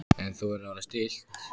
En þú verður að vera stillt.